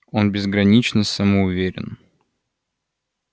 он безгранично самоуверен